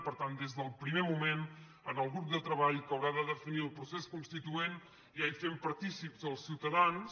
per tant des del primer moment en el grup de treball que haurà de definir el procés constituent ja hi fem partícips els ciutadans